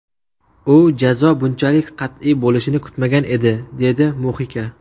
U jazo bunchalik qat’iy bo‘lishini kutmagan edi”, dedi Muxika.